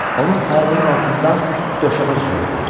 Onun ayağının altında döşəmə cırıldayırdı.